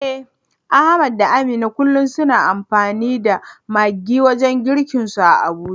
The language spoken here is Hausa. Eh Ahmad da Amina kullum suna amfani da maggi wajen girkinsu a Abuja.